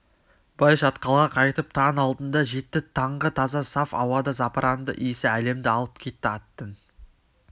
бай шатқалға қайтып таң алдында жетті таңғы таза саф ауада запыранды иісі әлемді алып кетті аттың